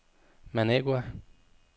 Managua